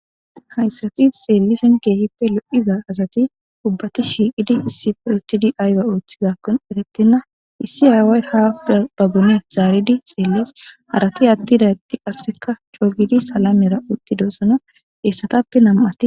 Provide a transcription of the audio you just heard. Hayssati xeelishin keehippe lo7iza asati ubati shiiqidi issippe uttidi ayba ooththizakonne eretena. issi aaway ha pude qabati zaridi xeelees. Harati atidageeti qassikka salamera utidosona hessatappe nam7ati.